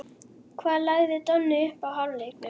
Hvað lagði Donni upp í hálfleiknum?